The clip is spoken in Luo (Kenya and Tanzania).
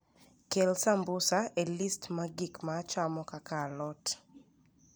Kel sambusa e list mar gik ma achamo kaka alot